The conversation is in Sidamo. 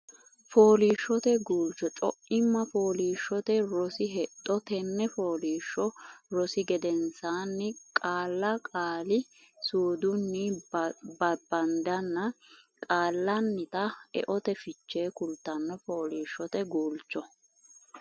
Fooliishshote Guulcho Co imma Fooliishshote Rosi Hexxo Tenne fooliishsho rosi gedensaanni Qaalla qaali suudunni babbaddenna Qaallannita eote fiche kultanno Fooliishshote Guulcho.